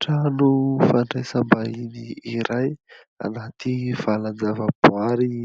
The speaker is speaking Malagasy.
Trano fandraisam-bahiny iray anaty valanjavaboahary